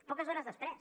poques hores després